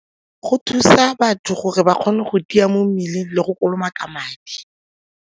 Go thusa batho gore ba kgone go tia mo mmeleng le go kolomaka ka madi.